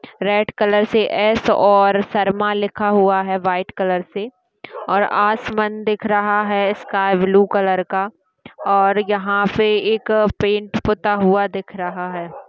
Red colour से S और शर्मा लिखा हुआ है व्हाइट कलर से और आसमान दिख रहा है स्काई ब्लू कलर का और यहाँ पे एक पेंट पुता हुआ दिख रहा है।